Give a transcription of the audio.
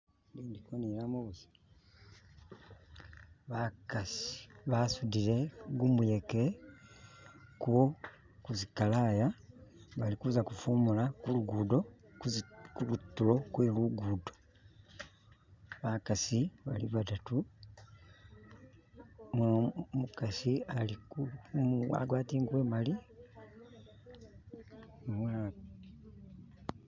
Indikonilamo busa bakasi basudile guyeke ku kuzikalaya balikuza kufumula kulugudo kulutulo kwe lugudo bakasi bali badatu umukasi agwatile enguvu emali nu mwana